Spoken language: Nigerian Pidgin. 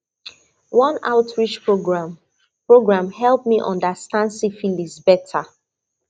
one outreach program program help me understand syphilis better